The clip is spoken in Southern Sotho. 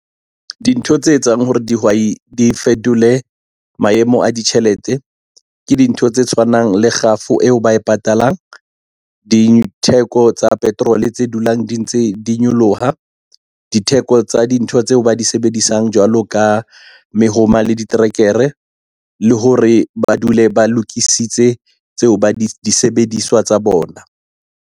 Dintho tse etsang hore dihwai di fetole maemo a ditjhelete, ke dintho tse tshwanang le kgafo eo ba e patalang, ditheko tsa petrol tse dulang di ntse di nyoloha, ditheko tsa dintho tseo ba di sebedisang jwalo ka mehoma le diterekere, le hore ba dule ba lokisitse di disebediswa tsa bona.